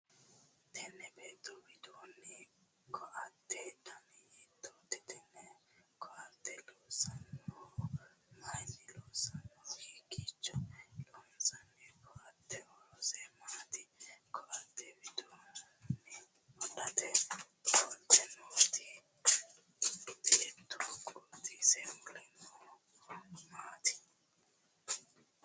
Tinni beetto wodhitino koate danna hiitoote? Tenne koate loonsoonnihu mayinni loonsoonni? Hikiicho lonsoonni? Koatete horose maati? Koate wodhite ofolte noo beetto qotise mule noohu maati?